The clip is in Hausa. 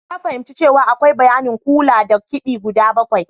Na fahimci cewa akwai bayanin kula da kidi guda bakwai.